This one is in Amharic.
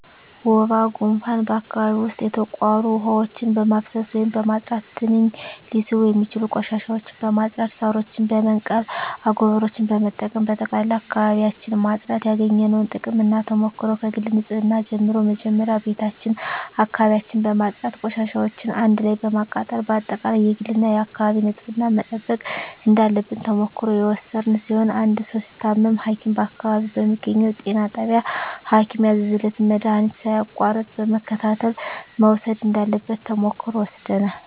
ወባ ጉንፋን በአካባቢው ዉስጥ የተቋሩ ዉሀዎችን በማፋሰስ ወይም በማፅዳት ትንኝ ሊስቡ የሚችሉ ቆሻሻዎችን በማፅዳት ሳሮችን በመንቀል አጎበሮችን በመጠቀም በጠቅላላ አካባቢዎችን ማፅዳት ያገኘነዉ ጥቅምና ተሞክሮ ከግል ንፅህና ጀምሮ መጀመሪያ ቤታችን አካባቢያችን በማፅዳት ቆሻሻዎችን አንድ ላይ በማቃጠል በአጠቃላይ የግልና የአካባቢ ንፅህናን መጠበቅ እንዳለብን ተሞክሮ የወሰድን ሲሆን አንድ ሰዉ ሲታመም ሀኪም በአካባቢው በሚገኘዉ ጤና ጣቢያ ሀኪም ያዘዘለትን መድሀኒት ሳያቋርጥ በመከታተል መዉሰድ እንዳለበት ተሞክሮ ወስደናል